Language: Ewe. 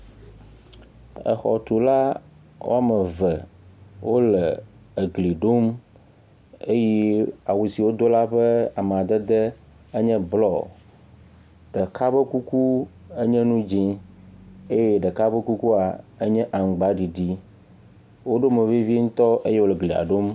Exɔtula wɔme eve wo le egli ɖom eye awu si wodo la ƒe amadede enye blɔ. Ɖeka ƒe kuku enye nu dzi eye ɖeka ƒe kukua enye aŋgbaɖiɖi. Woɖo mo vevi ŋtɔ eye wo le glia ɖom.